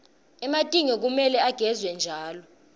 ematinyo kumele agezwe njalo